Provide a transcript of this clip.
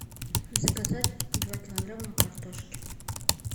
заказать два килограмма картошки